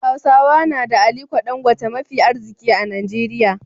Hausawa na da ALIKO DANGOTE mafi arziki a Najeriya.